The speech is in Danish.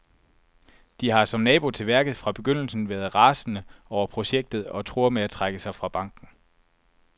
De har, som nabo til værket, fra begyndelsen været rasende over projektet og truer med at trække sig fra banken.